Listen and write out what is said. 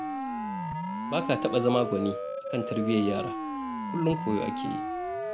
Ba ka taɓa zama gwani a kan tarbiyyar yara, kullum koyo ake yi